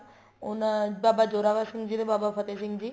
ਉਹਨਾ ਬਾਬਾ ਜ਼ੋਰਾਵਰ ਸਿੰਘ ਜੀ ਤੇ ਬਾਬਾ ਫ਼ਤਿਹ ਸਿੰਘ ਜੀ